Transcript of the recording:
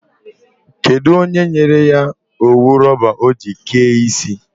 Kedụ onye nyere ya owu rọba ọ ji kee isi?